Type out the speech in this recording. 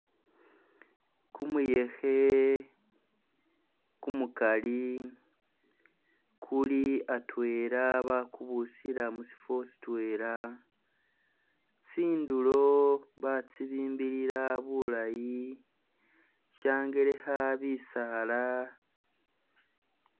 Kumuyekhe kumukali kuli atwela bakubusila mushifo shitwela, tsindulo batsibimbilila bulayi, shangelekha bisaala.